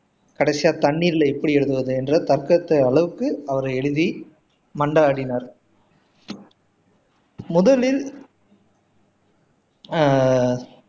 கடைசியா தண்ணீர்ல எப்படி எழுதுறது என்ற தற்கத்த அளவுக்கு அவரு எழுதி மன்றாடினார் முதலில் ஆஹ்